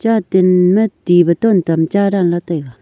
ma ti bottle tamcha danla taiga.